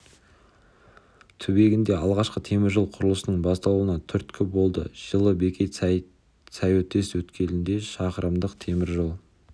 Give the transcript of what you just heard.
түбегінде алғашқы темір жол құрылысының басталуына түрткі болды жылы бекет сайөтес өткелінде шақырымдық темір жол